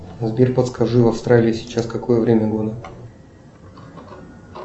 сбер подскажи в австралии сейчас какое время года